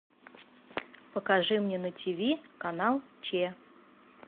покажи мне на ти ви канал че